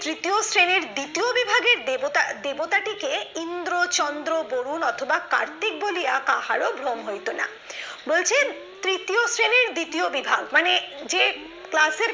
তৃতীয় শ্রেণীর দ্বিতীয় বিভাগের দেবতা দেবতাটিকে ইন্দ্র, চন্দ্র, বরুণ অথবা কার্তিক বলিয়া কাহারো ভ্রম হইতো না। বলছে, তৃতীয় শ্রেণীর দ্বিতীয় বিভাগ মানে যে class এ